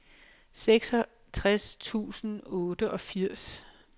seksogtres tusind og otteogfirs